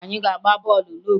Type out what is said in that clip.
Anyị ga-agba bọọlụ n'obodo